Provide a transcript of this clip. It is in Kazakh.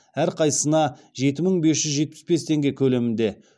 әрқайсысына жеті мың бес жүз жетпіс бес теңге көлемінде